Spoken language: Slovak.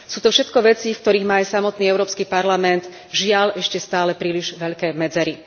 Sú to všetko veci, v ktorých má aj samotný Európsky parlament, žiaľ, ešte stále príliš veľké medzery.